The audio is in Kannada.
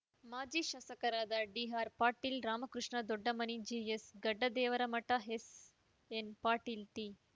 ಮಾಜಿ ಶಾಸಕರಾದ D R Patil Ramakrishna Doddamani G S Gaddadevaramath S N Patil T